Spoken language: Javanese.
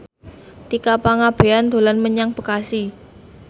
Tika Pangabean dolan menyang Bekasi